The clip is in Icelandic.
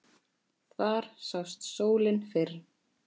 Þar sást sólin fyrr.